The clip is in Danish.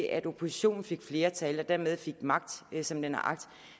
at oppositionen får flertal og dermed fik magt som den har agt